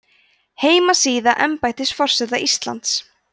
heimasíða embættis forseta íslands